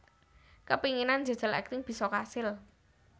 Kepinginane njajal akting bisa kasil